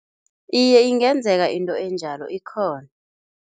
Iye, ingenzeka into enjalo, ikhona.